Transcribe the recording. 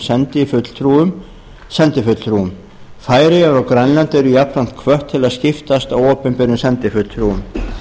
sendifulltrúum færeyjar og grænland eru jafnframt hvött til að skiptast á opinberum sendifulltrúum